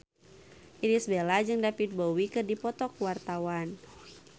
Irish Bella jeung David Bowie keur dipoto ku wartawan